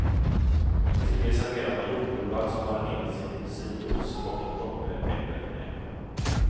Till det serverar man jordgubbar som marinerats i apelsinjuice och en droppe äppelvinäger.